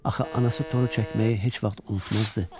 Axı anası toru çəkməyi heç vaxt unutmazdı.